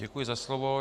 Děkuji za slovo.